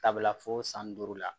Sabula fo san duuru la